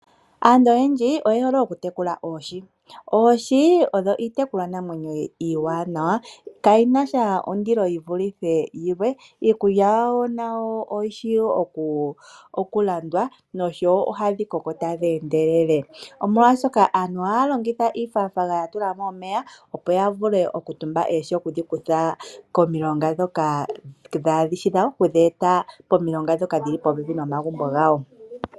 Aantu oyendji oye hole okutekula oohi. Oohi odho iitekulwanamwenyo iiwanawawa. Kadhi na ondilo dha fa yilwe. Iikulya yadho wo oyi shi okulandwa noshowo ohadhi koko tadhi endelele. Aantu ohaya longitha oonayilona ya tula mo omeya, opo ya vule okutumba oohi okudhi kutha komilonga ndhoka dhaa shi dhawo okudhi eta momilonga ndhoka dhi li popepi nomagumbo gawo.